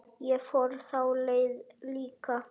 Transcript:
Ég fór þá leið líka.